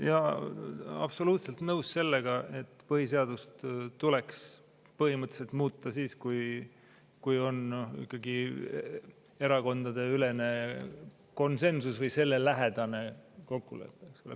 Jaa, olen absoluutselt nõus sellega, et põhiseadust saab põhimõtteliselt muuta siis, kui on ikkagi erakondadeülene konsensus või sellele lähedane kokkulepe.